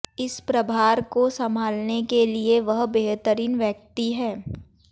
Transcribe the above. इस प्रभार को संभालने के लिए वह बेहतरीन व्यक्ति हैं